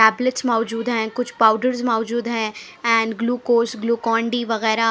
अपप्लीच मौजूद है कुछ पोडर्स मौजूद है एंड ग्लूकोस ग्लूकोन डी वगेरा--